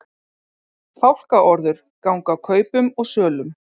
Fálkaorður ganga kaupum og sölum